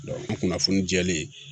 o kunnafoni jɛlen